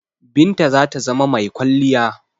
Binta zata zama mai kwalliya.